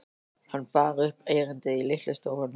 Hann bar upp erindið í litlu stofunni.